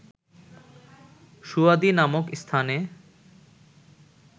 সুয়াদি নামক স্থানে